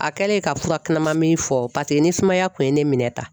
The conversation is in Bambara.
A kɛlen ka fura kunaman min fɔ ni sumaya kun ye ne minɛ tan